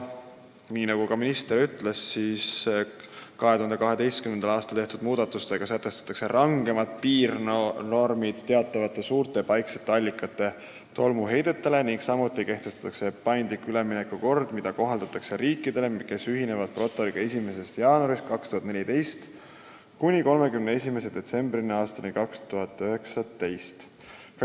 Nagu ka minister ütles, 2012. aastal tehtud muudatustega sätestatakse rangemad piirnormid teatavate suurte paiksete allikate tolmuheidetele, samuti kehtestatakse paindlik üleminekukord, mida kohaldatakse riikidele, kes ühinevad protokolliga ajavahemikul 1. jaanuar 2014 kuni 31. detsember 2019.